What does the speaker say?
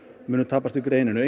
muni tapast í greininni